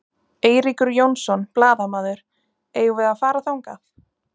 Eiríkur Jónsson, blaðamaður: Eigum við að fara þangað?